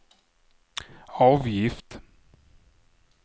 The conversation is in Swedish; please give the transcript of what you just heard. avgift